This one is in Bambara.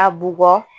A bugɔ